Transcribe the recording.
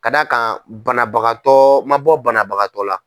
Ka d'a kan banabagatɔ ma bɔ banabagatɔ la.